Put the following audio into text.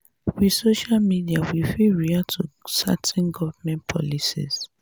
with social media we fit react to certain government policies